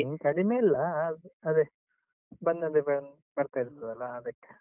ಮೀನು ಕಡಿಮೆ ಇಲ್ಲ, ಆದ್ರೂ ಅದೇ ಬಂದದ್ದೇ ಬ~ ಬರ್ತಾ ಇರ್ತದಲಾ ಅದಕ್ಕೆ.